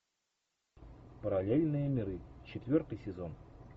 параллельные миры четвертый сезон